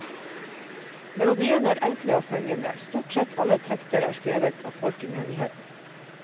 Melodiene er enkle og fengende, stort sett alle tekster er skrevet av folk i menigheten.